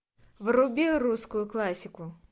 вруби русскую классику